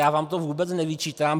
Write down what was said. Já vám to vůbec nevyčítám.